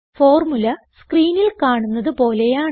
formula സ്ക്രീനിൽ കാണുന്നത് പോലെയാണ്